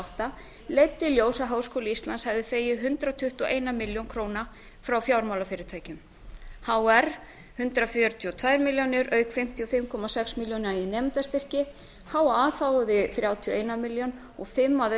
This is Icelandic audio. átta leiddi í ljós að háskóli íslands hafði þegið hundrað tuttugu og eina milljón króna frá fjármálafyrirtækjunum hr hundrað fjörutíu og tvær milljónir auk fimmtíu og fimm komma sex milljóna í nemendastyrki ha þáði þrjátíu og eina milljón og fimm að